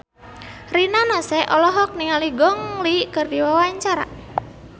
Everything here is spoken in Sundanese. Rina Nose olohok ningali Gong Li keur diwawancara